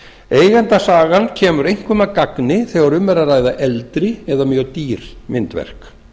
eigendasagan kemur einkum að gagni þegar um er að ræða eldri eða mjög dýr myndverk